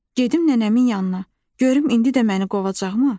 Gedim nənəmin yanına, görüm indi də məni qovacaqmı?